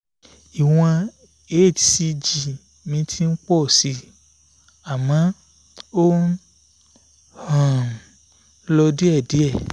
ìwọ̀n hcg mi ti ń pọ̀ sí i àmọ́ ó ń um lọ díẹ̀díẹ̀